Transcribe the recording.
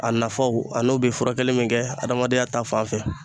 A nafaw a n'o be furakɛli min kɛ adamadenya ta fanfɛ